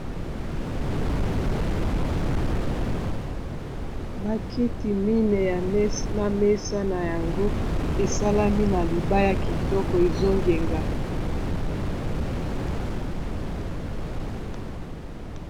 Ba kiti mineyi na mesa na yango esalami na libaya kitoko ezongenga.